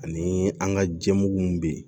Ani an ka jɛmuw bɛ yen